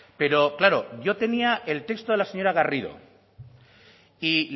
pero claro yo tenía el texto de la señora garrido y